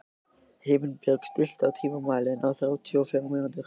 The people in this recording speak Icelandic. Himinbjörg, stilltu tímamælinn á þrjátíu og fjórar mínútur.